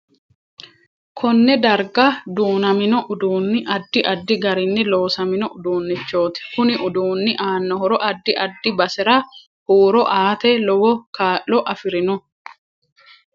Konne darga duunaminno uduuni addi addi garinni loosamino uduunichooti kuni uduuni aano horo addi addi basera huuro aate lowo kaa'lo afirino